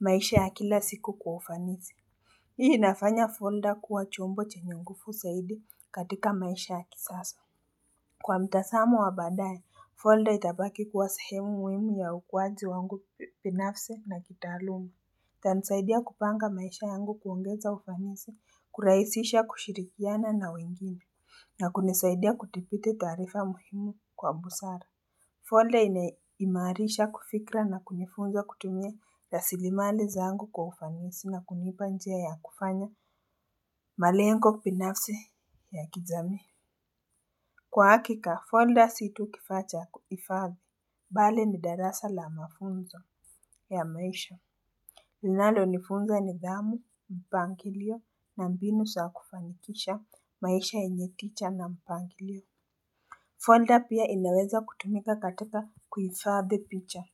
maisha ya kila siku kwa ufanisi. Hii inafanya folder kuwa chombo chenye nguvu saidi katika maisha ya kisasa Kwa mtazamo wa badaye, folder itabaki kuwa sahemu muhimu ya ukuaji wangu binafsi na kitaaluma. Itanisaidia kupanga maisha yangu kuongeza ufanisi, kuraisisha kushirikiana na wengine, na kunisaidia kuthibiti taarifa muhimu kwa busara. Folder inaimarisha kufikra na kunifunza kutumye ya rasiliimali zangu kwa ufanisi na kunipa njia ya kufanya malengo binafsi ya kijamii Kwa hakika, folder si tu kifaa cha kuhifadhi, bali ni darasa la mafunzo ya maisha. Linalo nifunzo nidhamu, mpangilio, na mbinu zaa kufanikisha, maisha yenye teacher na mpangilio. Folder pia inaweza kutumika katika kuifadhi picha.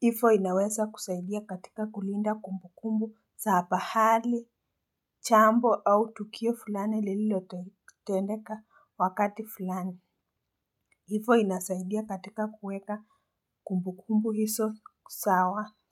Hivo inaweza kusaidia katika kulinda kumbukumbu za pahali, jambo au tukio fulani liloteneka wakati fulani. Hivo inasaidia katika kuweka kumbu kumbukumbu hizo sawa.